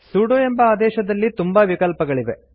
sudo ಎಂಬ ಆದೇಶದಲ್ಲಿ ತುಂಬಾ ವಿಕಲ್ಪಗಳಿವೆ